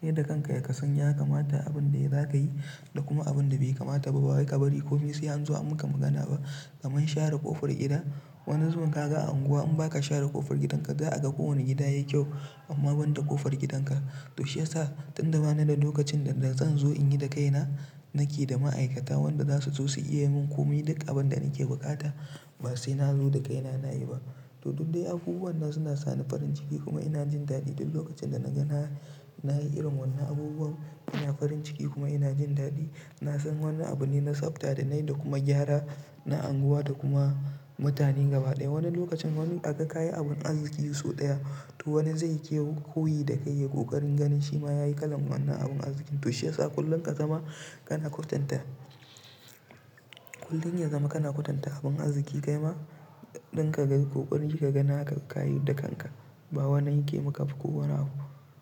kai da kanka ya kasan ya kamata abun da za ka yi da kuma abun da bai kamata ba. Ba wai ka bari ko me sai an zo a maka magana ba. Kamar share ƙofar gida, wani zubin ka ga a unguwa in ba ka share ƙofar gidanka za a ga kowane gida yayi kyau amma banda ƙofar gidanka. To shiya sa tunda bani da lokacin da zan zo in yi da kaina nake da ma'aikata wanda za su zo su iya mun komai duk abin da nake buƙata ba sai na zo da kaina na yi ba. To dukde abubuwan nan suna sani farin ciki, kuma ina jin dadi duk lokacin da naga na nayi irin wadannan abubuwan, ina farin ciki kuma ina jin dadi. Na san wannan abu ne na tsafta da na yi da kuma gyara na unguwa da kuma mutane gaba ɗaya. Wani lokacin wani aga kayi abun arziki so ɗaya to wani zai kewu koyi da kai ya ƙoƙarin ganin shi ma ya yi kalan wannan abun arziki. To shi ya sa kullum ka zama kana kwatanta. Kullum ya zama kana kwatanta abun arziki kai ma ɗin ka ga ƙoƙarin yi ka ga naka ka yi da kanka. Ba wani yake maka ba ko wani abu.